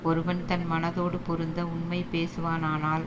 ஒருவன் தன் மனதோடு பொருந்த உண்மை பேசுவானானால்